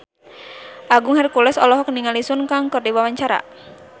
Agung Hercules olohok ningali Sun Kang keur diwawancara